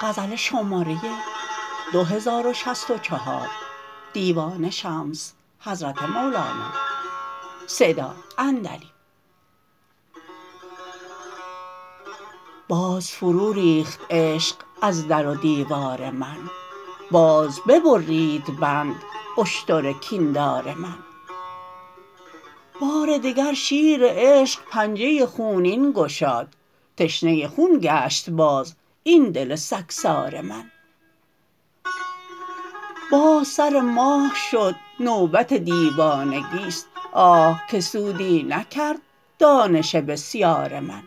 باز فروریخت عشق از در و دیوار من باز ببرید بند اشتر کین دار من بار دگر شیر عشق پنجه خونین گشاد تشنه خون گشت باز این دل سگسار من باز سر ماه شد نوبت دیوانگی است آه که سودی نکرد دانش بسیار من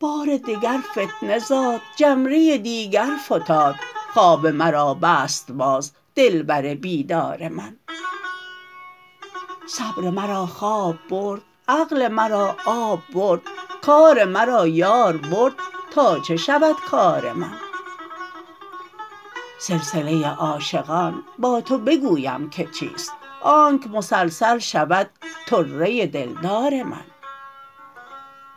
بار دگر فتنه زاد جمره دیگر فتاد خواب مرا بست باز دلبر بیدار من صبر مرا خواب برد عقل مرا آب برد کار مرا یار برد تا چه شود کار من سلسله عاشقان با تو بگویم که چیست آنک مسلسل شود طره دلدار من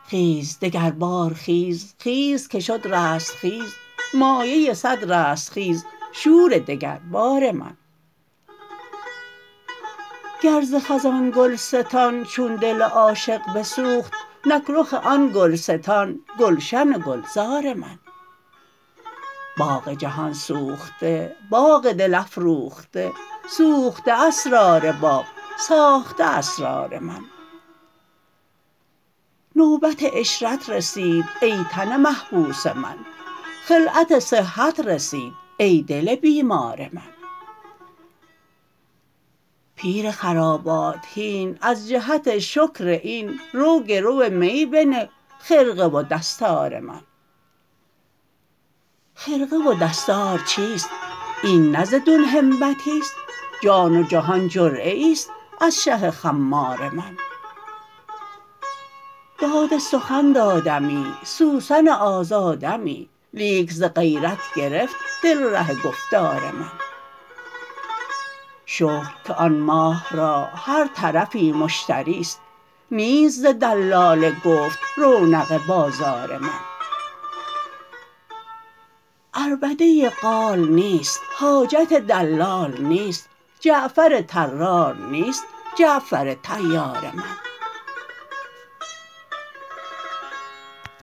خیز دگربار خیز خیز که شد رستخیز مایه صد رستخیز شور دگربار من گر ز خزان گلستان چون دل عاشق بسوخت نک رخ آن گلستان گلشن و گلزار من باغ جهان سوخته باغ دل افروخته سوخته اسرار باغ ساخته اسرار من نوبت عشرت رسید ای تن محبوس من خلعت صحت رسید ای دل بیمار من پیر خرابات هین از جهت شکر این رو گرو می بنه خرقه و دستار من خرقه و دستار چیست این نه ز دون همتی است جان و جهان جرعه ای است از شه خمار من داد سخن دادمی سوسن آزادمی لیک ز غیرت گرفت دل ره گفتار من شکر که آن ماه را هر طرفی مشتری است نیست ز دلال گفت رونق بازار من عربده قال نیست حاجت دلال نیست جعفر طرار نیست جعفر طیار من